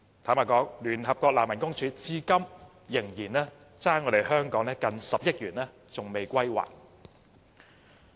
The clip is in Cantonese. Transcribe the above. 坦白說，聯合國難民署至今仍欠香港接近10億元未歸還。